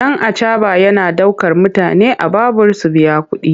Ɗan acaɓa yana ɗaukar mutane a babur su biya kuɗi.